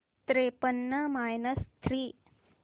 त्रेपन्न minus three